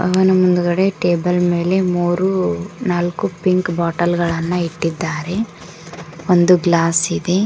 ಅವನ ಮುಂದುಗಡೆ ಟೇಬಲ್ ಮೇಲೆ ಮೂರು ನಾಲ್ಕು ಪಿಂಕ್ ಬಾಟಲ್ ಗಳನ್ನು ಇಟ್ಟಿದ್ದಾರೆ ಒಂದು ಗ್ಲಾಸ್ ಇದೆ.